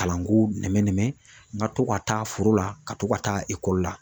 Kalanko nɛmɛn nɛmɛn n ka to ka taa foro la ka to ka taa ekɔli la.